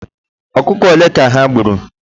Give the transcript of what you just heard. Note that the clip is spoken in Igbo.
Ọkụkọ ole ka ha gburu?